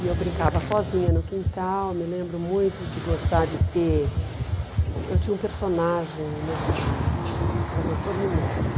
E eu brincava sozinha no quintal, me lembro muito de gostar de ter... Eu tinha um personagem imaginário, era o doutor Minerva.